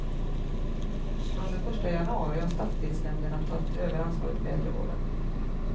Från den första januari har stadsdelsnämnderna tagit över ansvaret för äldrevården.